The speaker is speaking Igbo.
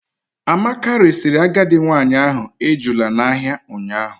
Amaka resiri agadi nwanyị ahụ ejula n'ahịa ụnyaahụ.